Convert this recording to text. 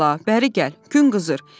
Ay bala, bəri gəl, gün qızır.